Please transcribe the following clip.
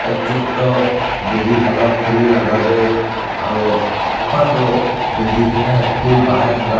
etu bohi thak khuli laga teh aru poka to buhi kena phul bha ngai thaka.